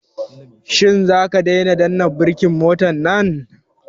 Shin zaka daina danna birkin motan nan?